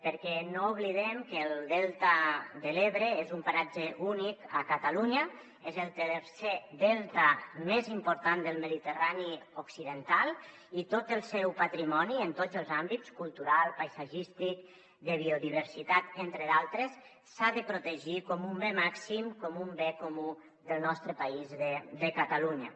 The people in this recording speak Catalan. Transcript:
perquè no oblidem que el delta de l’ebre és un paratge únic a catalunya és el tercer delta més important del mediterrani occidental i tot el seu patrimoni en tots els àmbits cultural paisatgístic de biodiversitat entre d’altres s’ha de protegir com un bé màxim com un bé comú del nostre país de catalunya